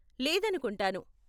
లేదనుకుంటాను .